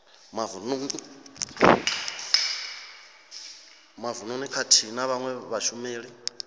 mavununi khathihi na vhawe vhashumeli